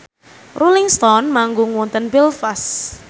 Rolling Stone manggung wonten Belfast